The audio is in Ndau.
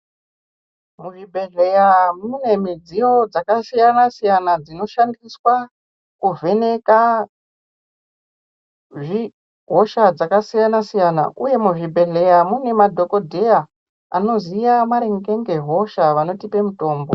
Mu zvibhehleya mune midziyo dzaka siyana siyana dzino shandiswa kuvheneka hosha dzaka siyana siyana uye mu zvibhedhleya mune madhokodheya anoziya maringe nge hosha vanotipe mutombo.